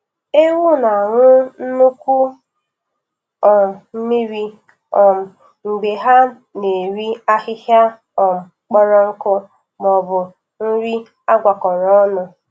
Ewu na-aṅụ nnukwu um mmiri um mgbe ha na-eri ahịhịa um kpọrọ nkụ maọbụ nri agwakọro ọnụ